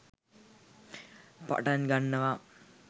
පටන් ගන්නවා.